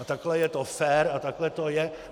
A takhle je to fér a takhle to je.